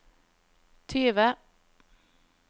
tyve